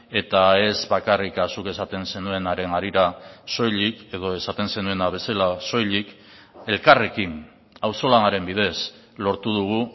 eta ez bakarrik zuk esaten zenuenaren harira soilik edo esaten zenuena bezala soilik elkarrekin auzolanaren bidez lortu dugu